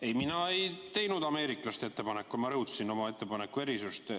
Ei, mina ei teinud ameeriklaste ettepanekut, ma rõhutasin oma ettepaneku erisust.